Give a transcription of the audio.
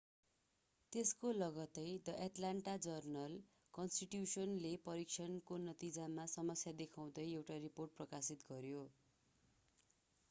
त्यसको लगत्तै the Atlanta जर्नल-कन्स्टिट्यूशनले परीक्षणको नतिजामा समस्या देखाउँदै एउटा रिपोर्ट प्रकाशित गर्‍यो।